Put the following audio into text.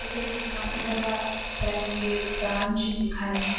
এটা একটা কানাড়া আ ব্যাঙ্ক -এর ব্রাঞ্চ যেখানে --